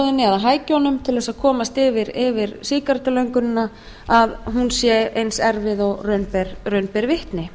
aðstoðinni eða hækjunum til þess að komast yfir sígarettulöngunina að hún sé eins erfið og raun ber vitni